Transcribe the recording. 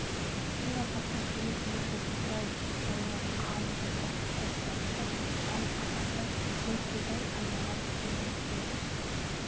кең алқапта үйір-үйір боп бытырай жайылған қалың жылқы қос жанында тай қазанда былқылдай қайнаған құлынның уыз